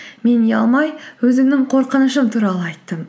мен ұялмай өзімнің қорқынышым туралы айттым